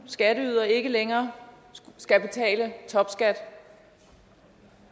skatteydere ikke længere skal betale topskat